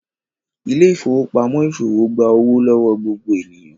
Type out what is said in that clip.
Ile-ifowopamọ iṣowo gbà owo lọwọ gbogbo ènìyàn